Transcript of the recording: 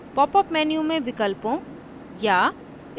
* popअप menu में विकल्पों या